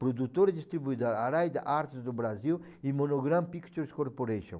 Produtora e distribuidora, Araida Artes do Brasil e Monogram Pictures Corporation.